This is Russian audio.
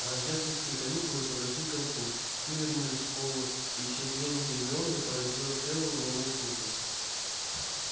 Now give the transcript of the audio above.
рождественские каникулы подошли к концу все вернулись в школу и исчезновение гермионы породило целую волну слухов